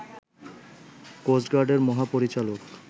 coast গার্ডের মহাপরিচালক